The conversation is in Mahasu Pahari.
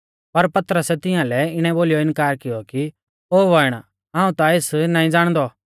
पर पतरसै तिंआलै इणै बोलीयौ इनकार कियौ ओ बौइण हाऊं ता एस नाईं ज़ाणदौ